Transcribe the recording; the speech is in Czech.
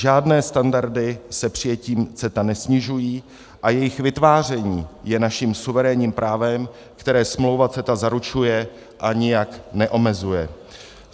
Žádné standardy se přijetím CETA nesnižují a jejich vytváření je naším suverénním právem, které smlouva CETA zaručuje a nijak neomezuje.